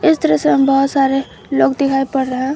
इस दृश्य में बहुत सारे लोग दिखाई पड़ रहे हैं।